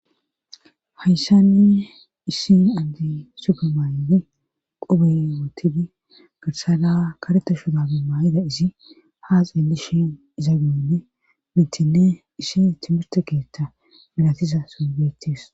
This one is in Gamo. hayssani iissi andi supemaaydi qobeotidi girsala kareta shudabe maayida isi haa xeelishin izagane mintinne ishi timirte keetta milatiza solbeetis